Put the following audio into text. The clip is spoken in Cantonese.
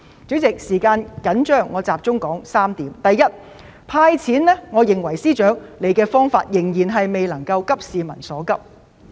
主席，由於時間緊張，我想集中提出3點：第一，我認為司長"派錢"的方法，未能做到急市民所急。